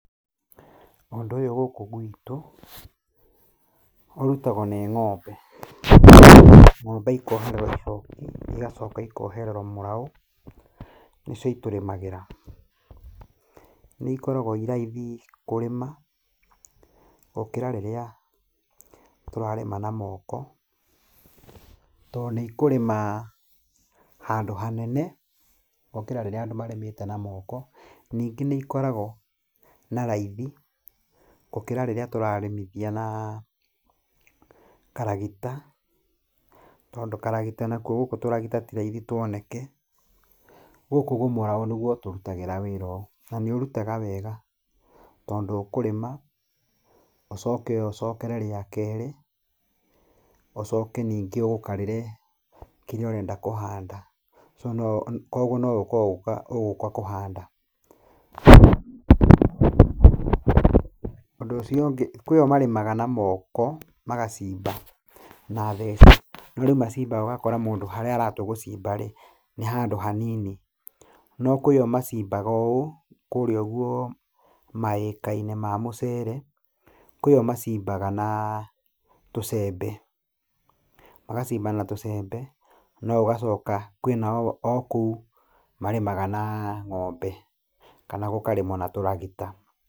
Ũndũ ũyũ gũkũ gwitũ ũrutagwo nĩ ng'ombe. Ng'ombe ikohererwo icoki, igacoka ikohererwo mũrau, nĩcio itũrĩmagĩra. Nĩikoragwo i raithi kũrĩma gũkĩra rĩrĩa tũrarĩma na moko, tondũ nĩikũrĩma handũ hanene gũkĩra rĩrĩa andũ marĩmĩte na moko, ningĩ nĩikoragwo na raithi gũkĩra rĩrĩa tũrarĩmithia na karagita, tondũ karagita nakuo gũkũ tũragita ti raithi tũoneke. Gũkũ ũguo mũrau nĩguo ũtũrutagĩra wĩra ũyũ, na nĩũrutaga wega, tondũ ũkũrĩma, ũcoke ũcokere rĩa kerĩ, ũcoke ningĩ ũgũkarĩre kĩrĩa ũrenda kũhanda. Kogwo nogũka ũgũka kũhanda. Ũndũ ũcio ũngĩ, kwĩ o marĩmaga na moko, magacimba na theci. No rĩu macimbaga ũgakora mũndũ harĩa aratua gũcimba rĩ, ni handũ hanini. No kwĩ o macimbaga ũũ, kũrĩa ũguo maĩka-inĩ ma mucere, kwĩ o macimbaga na tũcembe. Magacimba na tucembe, no ũgacoka, kwĩ nao o kũu marĩmaga na ng'ombe, kana gũkarĩmwo na tũragita.